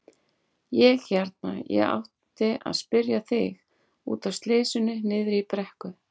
Ég hérna. ég átti að spyrja þig. út af slysinu niðri í brekku.